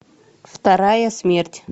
вторая смерть